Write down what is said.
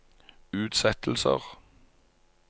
utsettelser